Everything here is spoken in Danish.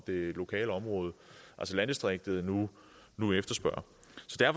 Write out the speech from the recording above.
det lokale område altså landdistriktet nu nu efterspørger